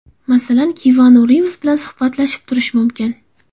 Masalan, Kianu Rivz bilan suhbatlashib turish mumkin.